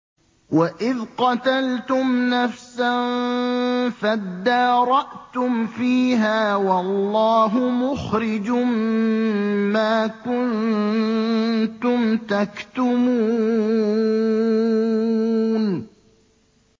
وَإِذْ قَتَلْتُمْ نَفْسًا فَادَّارَأْتُمْ فِيهَا ۖ وَاللَّهُ مُخْرِجٌ مَّا كُنتُمْ تَكْتُمُونَ